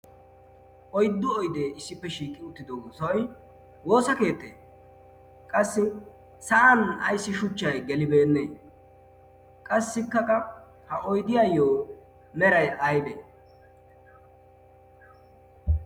oyddu oydee issippe shiiqi uttido osoy woosa keettee qassi sa'an ayssi shuchchay gelibeennee qassi kaqa ha oydiyaayyo meray aybee?